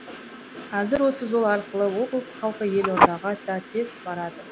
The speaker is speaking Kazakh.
қазір осы жол арқылы облыс халқы елордаға да тез барады